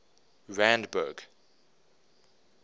randburg